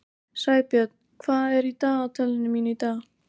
Sæbjörn, hvað er í dagatalinu mínu í dag?